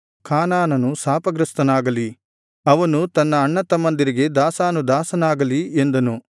ಕಾನಾನನು ಶಾಪಗ್ರಸ್ತನಾಗಲಿ ಅವನು ತನ್ನ ಅಣ್ಣತಮ್ಮಂದಿರಿಗೆ ದಾಸಾನುದಾಸನಾಗಲಿ ಎಂದನು